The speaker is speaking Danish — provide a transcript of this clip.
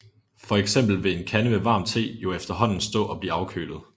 Fx vil en kande med varm te jo efterhånden stå og blive afkølet